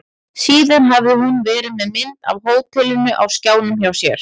Síðan hafði hún verið með mynd af hótelinu á skjánum hjá sér.